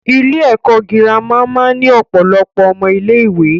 Ilé ẹ̀kọ́ girama máa ń ní ọ̀pọ̀lọpọ̀ ọmọ ilé ìwé.